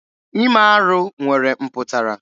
Ime arụ nwere mpụtara.